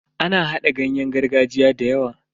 Ana hada giyan gargajiya da dawa.